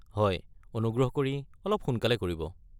হয়, অনুগ্ৰহ কৰি অলপ সোনকালে কৰিব।